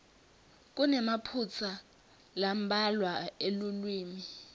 kunemaphutsa lambalwa elulwimi